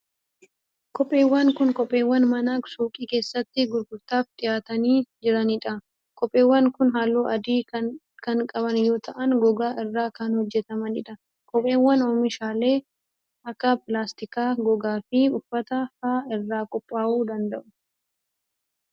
Kopheewwan kun ,kopheewwan mana suuqii keessatti gurgurtaaf dhiyaatanii jiranii dha. Kopheewwan kun, haalluu adii kan qaban yoo ta'an, gogaa irraa kan hojjatamanii dha. Kopheewwan, oomishaalee akka pilaastikaa, gogaa fi uffata faa irraa qophaa'uu danda'u.